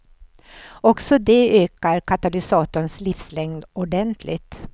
Också det ökar katalysatorns livslängd ordentligt.